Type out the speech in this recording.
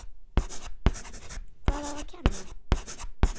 Hvað á að kenna?